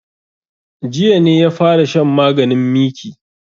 Jiya ne ya fara shan maganin miki